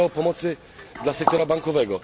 Mówimy o pomocy dla sektora bankowego.